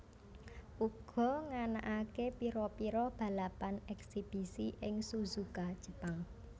uga nganakaké pira pira balapan eksibisi ing Suzuka Jepang